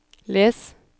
les